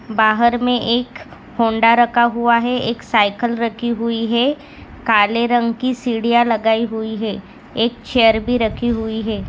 बाहर मे एक होंडा रखा हुआ है एक साईकल रखी हुई है काले रंग की सिडिया लगाई हुई है एक चेअर भी रखी हुई है।